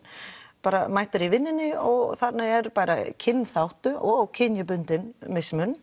bara mætir í vinnu og þarna er bara kynþátta og kynbundin mismunun